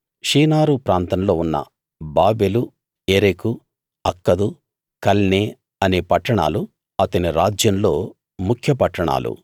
షీనారు ప్రాంతంలో ఉన్న Babel Erech Akkad Calneh అనే పట్టణాలు అతని రాజ్యంలో ముఖ్య పట్టాణాలు